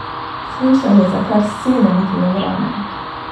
Shujšal je za kar sedem kilogramov.